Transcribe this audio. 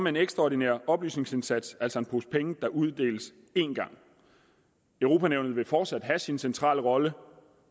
en ekstraordinær oplysningsindsats altså en pose penge der uddeles én gang europa nævnet vil fortsat have sin centrale rolle